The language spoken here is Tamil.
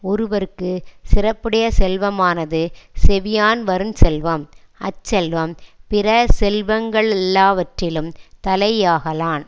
ஒருவற்குச் சிறப்புடைய செல்வமானது செவியான் வருஞ் செல்வம் அச்செல்வம் பிறசெல்வங்க ளெல்லாவற்றிலும் தலையாகலான்